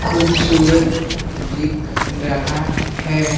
ख़ूबसूरत दिख रहा है।